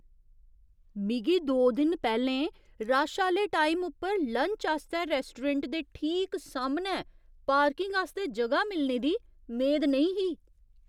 मिगी दो दिन पैह्‌लें रश आह्‌ले टाइम उप्पर लंच आस्तै रैस्टोरैंट दे ठीक सामनै पार्किंग आस्तै जगह मिलने दी मेद नेईं ही।